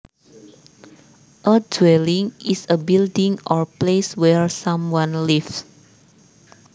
A dwelling is a building or place where someone lives